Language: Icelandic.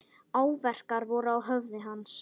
Áverkar voru á höfði hans.